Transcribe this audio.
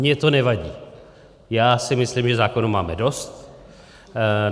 Mně to nevadí, já si myslím, že zákonů máme dost.